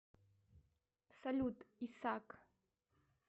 салют исак